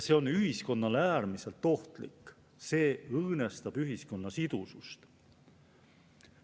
See on ühiskonnale äärmiselt ohtlik, see õõnestab ühiskonna sidusust.